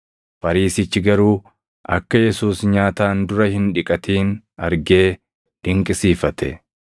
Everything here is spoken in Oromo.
Fariisichi garuu akka Yesuus nyaataan dura hin dhiqatin argee dinqisiifate.